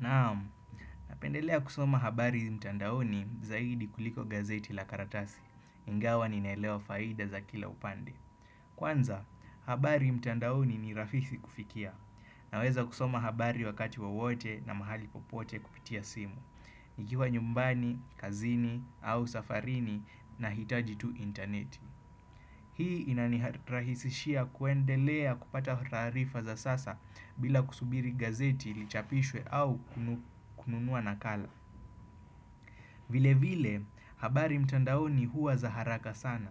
Naam, napendelea kusoma habari mtandaoni zaidi kuliko gazeti la karatasi, ingawa ninaelewa faida za kila upande. Kwanza, habari mtandaoni ni rahisi kufikia. Naweza kusoma habari wakati wowote na mahali popote kupitia simu. Nikiwa nyumbani, kazini, au safarini nahitaji tu intaneti. Hii inani rahisishia kuendelea kupata taarifa za sasa bila kusubiri gazeti lichapishwe au kununua nakala. Vile vile habari mtandaoni huwa za haraka sana.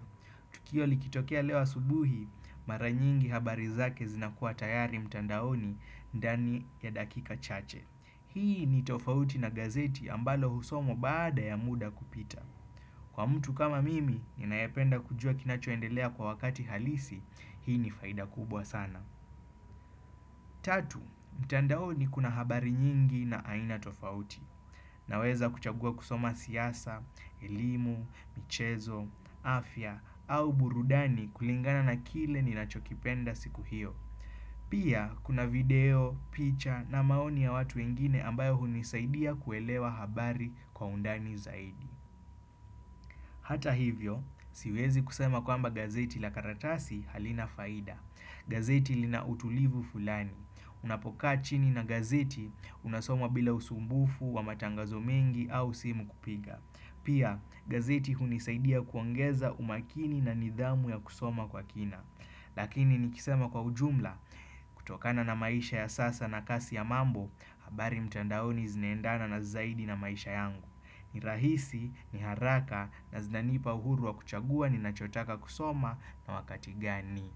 Tukio likitokea leo subuhi maranyingi habari zake zinakuwa tayari mtandaoni ndani ya dakika chache. Hii ni tofauti na gazeti ambalo husomwa baada ya muda kupita. Kwa mtu kama mimi, ninayependa kujua kinachoendelea kwa wakati halisi, hii ni faida kubwa sana. Tatu, mtandaoni kuna habari nyingi na aina tofauti. Naweza kuchagua kusoma siasa, elimu, michezo, afya, au burudani kulingana na kile ninachokipenda siku hiyo. Pia, kuna video, picha na maoni ya watu wengine ambayo hunisaidia kuelewa habari kwa undani zaidi. Hata hivyo, siwezi kusema kwamba gazeti la karatasi halina faida. Gazeti lina utulivu fulani. Unapokaa chini na gazeti unasoma bila usumbufu wa matangazo mengi au simu kupiga. Pia, gazeti hunisaidia kuongeza umakini na nidhamu ya kusoma kwa kina. Lakini nikisema kwa ujumla, kutokana na maisha ya sasa na kasi ya mambo, habari mtandaoni zinaendana na zaidi na maisha yangu ni rahisi, ni haraka na zinanipa uhuru wa kuchagua ni nachotaka kusoma na wakati gani.